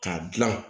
K'a dilan